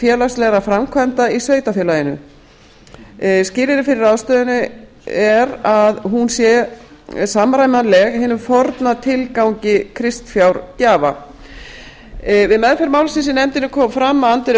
félagslegra framkvæmda í sveitarfélaginu skilyrði fyrir ráðstöfuninni er að hún sé samræmanleg hinum forna tilgangi kristfjárgjafa við meðferð málsins í nefndinni kom fram að andvirði